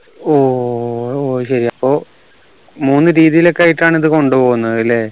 ഓ ഓ സഹ്രി അപ്പൊ മൂന്ന് രീതിയിലൊക്കെ ആയിട്ടാണ് ഇത് കൊണ്ടുപോവുന്നതല്ലെ